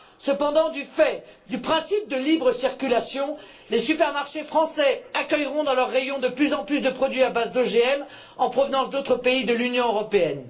Cependant, du fait du principe de libre circulation, les supermarchés français accueilleront dans leurs rayons de plus en plus de produits à base d'OGM en provenance d'autres pays de l'Union européenne.